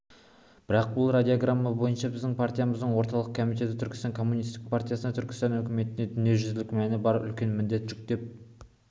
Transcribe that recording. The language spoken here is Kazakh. бұл радиограмма бойынша біздің партиямыздың орталық комитеті түркістан коммунистік партиясына түркістан үкіметіне дүниежүзілік мәні бар үлкен міндет жүктеп